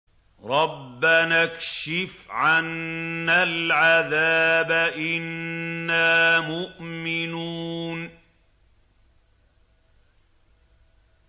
رَّبَّنَا اكْشِفْ عَنَّا الْعَذَابَ إِنَّا مُؤْمِنُونَ